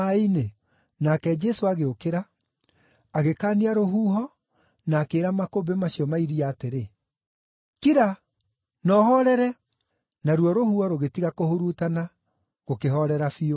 Nake Jesũ agĩũkĩra, agĩkaania rũhuho na akĩĩra makũmbĩ macio ma iria atĩrĩ, “Kira! Na ũhoorere!” Naruo rũhuho rũgĩtiga kũhurutana, gũkĩhoorera biũ.